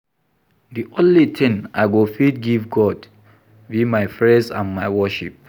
The only thing I go fit give God be my praise and my worship